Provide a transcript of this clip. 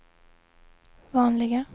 vanliga